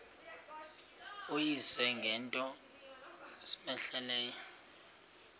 uyise ngento cmehleleyo